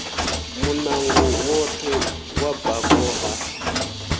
munango woṱhe wa bako ha